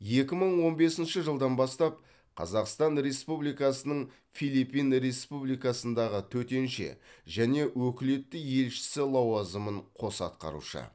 екі мың он бесінші жылдан бастап қазақстан республикасының филиппин республикасындағы төтенше және өкілетті елшісі лауазымын қоса атқарушы